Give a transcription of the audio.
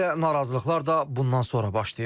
Elə narazılıqlar da bundan sonra başlayıb.